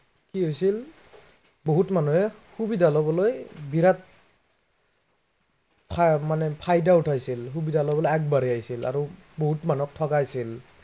কি হৈছিল, বহুত মানুহে সুবিধা লবলৈ বিৰাত মানে ফায়দা উঠাইছিল। সুবিধা লবলৈ আগবাঢ়ি আহিছিল আৰু বহুত মানুহক ঠগাইছিল।